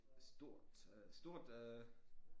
Stort øh stort øh